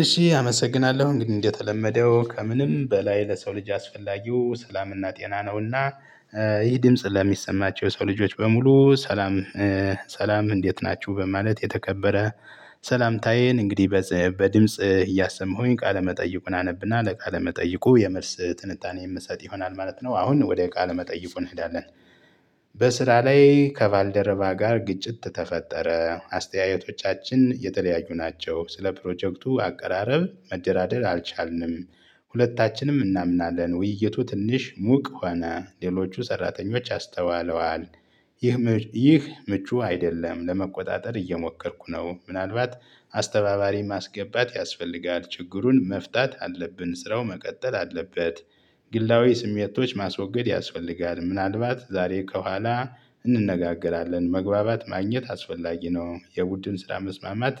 እሺ አመሰግናለሁ እንግዲህ እንደተለመደው ከምንም በላይ ለሰው ልጅ አስፈላጊው ሰላምና ጤና ነውና። ይህ ድምጽ ለሚሰማቸው የሰው ልጆች በሙሉ ሰላም። ሰላም እንዴት ናችሁ በማለት የተከበረ ሰላምታዬን እንግዲህ በድምጽ እያሰማሁኝ ቃለመጠይቁን አነብና ለቃለመጠይቁ የመልስ ትንታኔ የምሰጥ ይሆናል ማለት ነው። አሁን ወደ ቃለ መጠይቁ እንሄዳለን። በስራ ላይ ከቫልደረባ ጋር ግጭት ተፈጠረ አስተያየቶቻችን የተለያዩ ናቸው ስለ ፕሮጀክቱ አቀራረብ መደራደር አልቻልንም። ሁለታችንም እናምናለን ውይይቱ ትንሽ ሙቅ ሆነ ሌሎቹ ሰራተኞች አስተዋለዋል። ይህ ምቹ አይደለም ለመቆጣጠር እየሞከርኩ ነው። ምናልባት አስተባባሪ ማስገባት ያስፈልጋል ችግሩን መፍታት አለብን ስራው መቀጠል አለበት። ግላዊ ስሜቶች ማስወገድ ያስፈልጋል ምናልባት ዛሬ ከኋላ እንነጋገራለን መግባባት ማግኘት አስፈላጊ ነው። የቡድን ስራ መስማማት